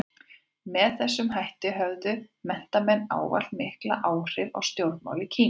Með þessum hætti höfðu menntamenn ávallt mikil áhrif á stjórnmál í Kína.